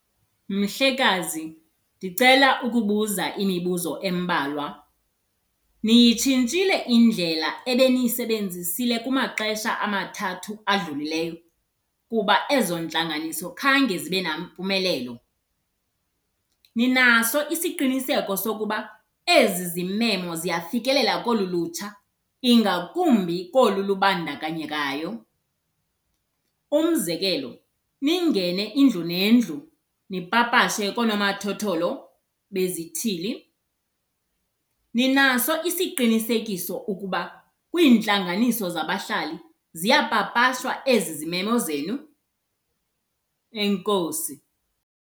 Mhlekazi, ndicela ukubuza imibuzo embalwa. Niyitshintshile indlela ebeniyisebenzisile kumaxesha amathathu adlulileyo kuba ezo ntlanganiso khange zibe nampumelelo? Ninaso isiqiniseko sokuba ezi zimemo ziyafikelela kolu lutsha ingakumbi kolu lubandakanyekayo? Umzekelo, ningene indlu nendlu, nipapashe koonomathotholo bezithili. Ninaso isiqinisekiso ukuba kwiintlanganiso zabahlali ziyapapashwa ezi zimemo zenu? Enkosi.